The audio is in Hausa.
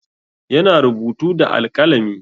Yana rubutu da alƙalami.